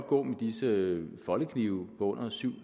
gå med disse foldeknive på under syv